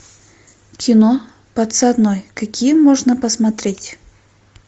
кино подсадной какие можно посмотреть